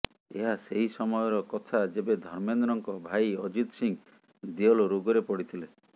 ଏହା ସେହି ସମୟର କଥା ଯେବେ ଧର୍ମେନ୍ଦ୍ରଙ୍କ ଭାଇ ଅଜିତ ସିଂହ ଦେଓଲ ରୋଗରେ ପଡିଥିଲେ